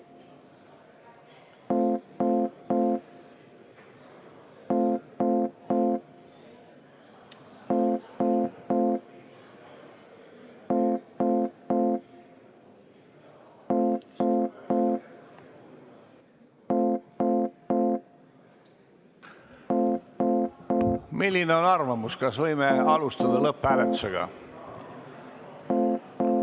Milline on arvamus, kas võime alustada lõpphääletusega?